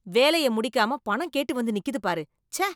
வேலைய முடிக்காம பணம் கேட்டு வந்து நிக்குது பாரு, ச்சே.